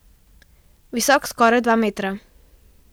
Visok skoraj dva metra.